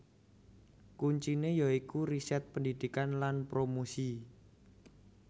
Kunciné ya iku riset pendidikan lan promosi